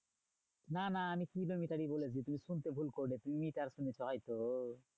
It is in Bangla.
না না আমি কিলোমিটারই বলেছি তুমি শুনতে ভুল করেছো। তুমি মিটার শুনেছ হয়ত?